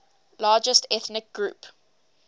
largest ethnic group